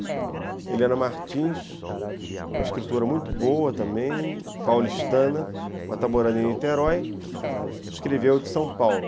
Helena Martins, uma escritora muito boa também, paulistana, mas está morando em Niterói, escreveu de São Paulo.